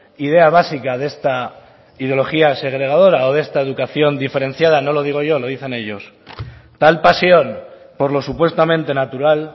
idea básica de esta ideología segregadora o de esta educación diferenciada no lo digo yo lo dicen ellos tal pasión por lo supuestamente natural